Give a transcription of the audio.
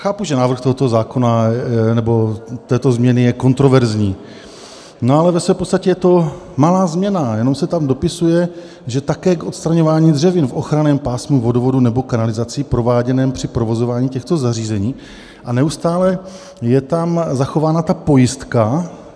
Chápu, že návrh tohoto zákona nebo této změny je kontroverzní, no ale ve své podstatě je to malá změna, jenom se tam dopisuje, že také "k odstraňování dřevin v ochranném pásmu vodovodů nebo kanalizací prováděném při provozování těchto zařízení" - a neustále je tam zachována ta pojistka.